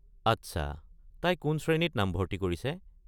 আচ্ছা, তাই কোন শ্ৰেণীত নামভৰ্ত্তি কৰিছে?